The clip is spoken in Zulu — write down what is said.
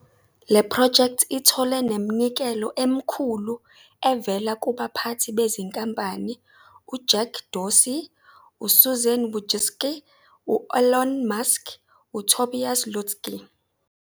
Le phrojekthi ithole neminikelo emikhulu evela kubaphathi bezinkampani uJack Dorsey, uSusan Wojcicki, u-Elon Musk, noTobias Lütke.